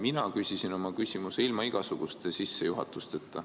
Mina küsisin oma küsimuse ilma igasuguste sissejuhatusteta.